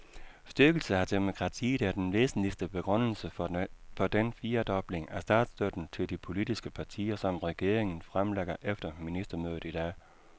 Styrkelse af demokratiet er den væsentligste begrundelse for den firedobling af statsstøtten til de politiske partier, som regeringen fremlægger efter ministermødet i dag.